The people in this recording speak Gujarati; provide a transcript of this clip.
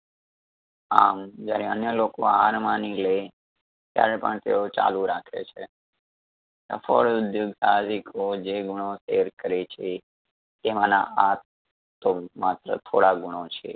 આમ જ્યારે અન્ય લોકો હાર માની લે ત્યારે પણ તેઓ ચાલુ રાખે છે. સફળ ઉધ્યોગ સાહસિકો જે ગુણો share કરે છે તેમના આ તો માત્ર થોડા ગુણો છે